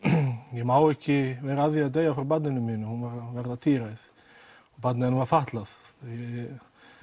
ég má ekki vera að því að deyja frá barninu mínu hún var að verða tíræð og barnið hennar var fatlað ég